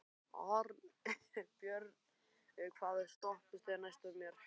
Arnbjörg, hvaða stoppistöð er næst mér?